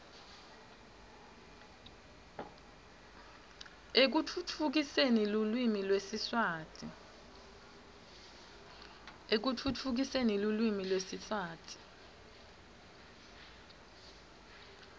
ekutfutfukiseni lulwimi lwesiswati